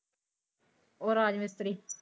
ਓ ਰਾਜਮਿਸਤਰੀ।